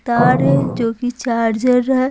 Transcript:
तार है जो कि चार्जर है।